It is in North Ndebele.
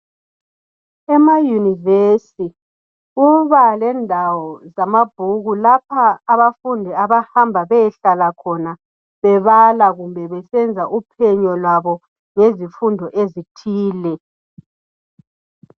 Emayunivesi kubalendawo zamabhuku. Lapha abafundi abahamba bayehlala khona bebala, loba besenza uphenyo lwabo ngezifundo ezithile.